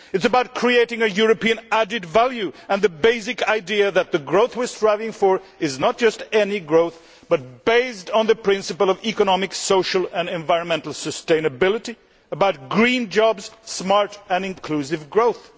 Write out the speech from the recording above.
It is about creating a European added value and the basic idea that the growth we are striving for is not just any growth but is based on the principle of economic, social and environmental sustainability, is about green jobs and smart and inclusive growth.